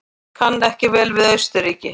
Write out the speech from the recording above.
Kann ekki vel við Austurríki.